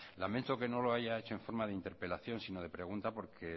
lamento que no lo haya hecho en forma de interpelación sino de pregunta porque